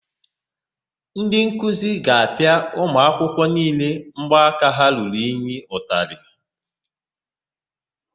Ndị nkuzi ga-apịa ụmụakwụkwọ niile mbọaka ha ruru unyi ụtalị.